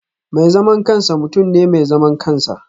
Mai zaman kansa mutum ne mai zaman kansa